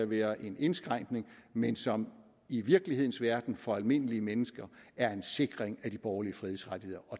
være en indskrænkning men som i virkelighedens verden for almindelige mennesker er en sikring af de borgerlige frihedsrettigheder